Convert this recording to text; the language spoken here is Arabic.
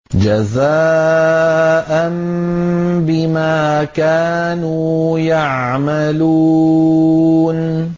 جَزَاءً بِمَا كَانُوا يَعْمَلُونَ